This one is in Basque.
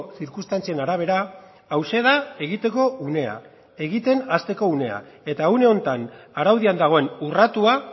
zirkunstantzien arabera hauxe da egiteko unea egiten hasteko unea eta une honetan araudian dagoen urratua